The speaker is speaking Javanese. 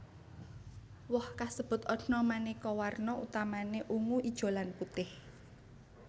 Woh kasebut ana manéka warna utamané ungu ijo lan putih